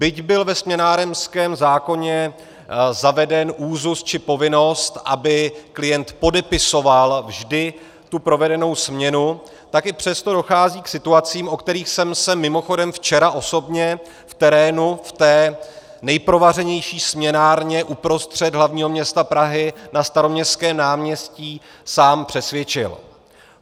Byť byl ve směnárenském zákoně zaveden úzus či povinnost, aby klient podepisoval vždy tu provedenou směnu, tak i přesto dochází k situacím, o kterých jsem se mimochodem včera osobně v terénu, v té nejprovařenější směnárně uprostřed hlavního města Prahy na Staroměstském náměstí, sám přesvědčil.